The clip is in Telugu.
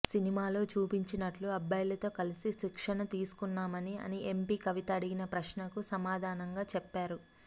సినిమాలో చూపించినట్లు అబ్బాయిలతో కలిసి శిక్షణ తీసుకున్నామని అని ఎంపి కవిత అడిగిన ప్రశ్నకు సమాధానంగా చెప్పారు